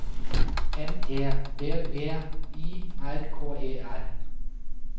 M E D V I R K E R